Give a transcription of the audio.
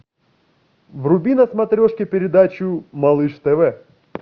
вруби на смотрешке передачу малыш тв